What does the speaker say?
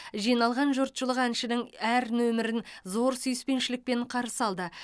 жиналған жұртшылық әншінің әр нөмірін зор сүйіспеншілікпен қарсы алды